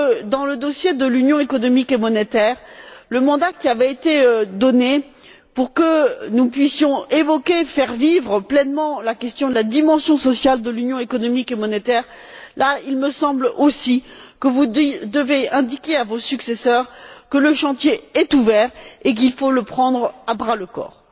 Dans le dossier de l'Union économique et monétaire au vu du mandat qui avait été donné pour que nous puissions évoquer, faire vivre pleinement la question de la dimension sociale de l'Union économique et monétaire, il me semble aussi que vous devez indiquer à vos successeurs que le chantier est ouvert et qu'il faut le prendre à bras le corps.